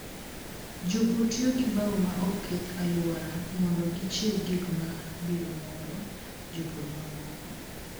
Jopur tiyo gi bao ma ok keth alwora mondo gichiw gik ma biro moro jopur mamoko.